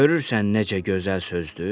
Görürsən necə gözəl sözdür?